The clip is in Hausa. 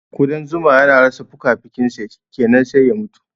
Ƙudan zuma yana rasa fukafukinsa shikenan sai mutuwa